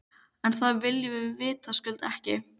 En það viljum við vitaskuld ekki.